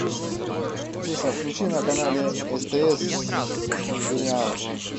алиса включи на канале стс сериал